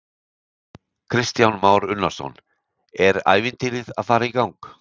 Kristján Már Unnarsson: Er ævintýrið að fara í gang?